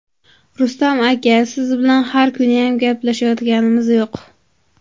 Rustam aka, siz bilan har kuniyam gaplashayotganimiz yo‘q.